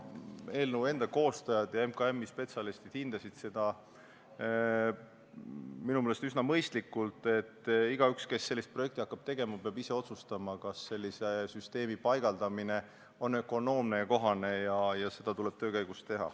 Eelnõu koostajad ja MKM-i spetsialistid hindasid seda minu meelest üsna mõistlikult ning leidsid, et igaüks, kes sellist projekti hakkab tegema, peab ise otsustama, kas sellise süsteemi paigaldamine on ökonoomne ja kohane, ja seda tuleb teha töö käigus.